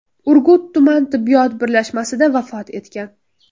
Urgut tuman tibbiyot birlashmasida vafot etgan.